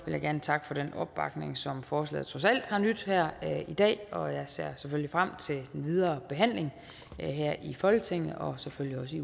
jeg gerne takke for den opbakning som forslaget trods alt har nydt her i dag og jeg ser frem til den videre behandling her i folketinget og selvfølgelig